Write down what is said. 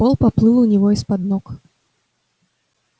пол поплыл у него из-под ног